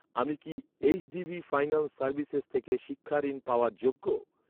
আমি কি HDB finance services থেকে শিক্ষা ঋণ পাওয়ার যোগ্য?